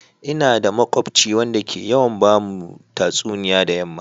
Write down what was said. Ina da makubci wanda ke yawan ba mu tatsuniya da yamma.